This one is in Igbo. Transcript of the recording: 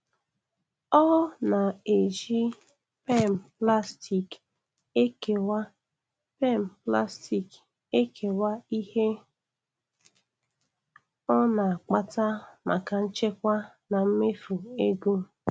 ỌỌ na-eji kpem plastic ekewa kpem plastic ekewa ihe o na-akpata maka nchekwa na mmefu ego.